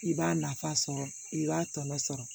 I b'a nafa sɔrɔ i b'a tɔnɔ sɔrɔ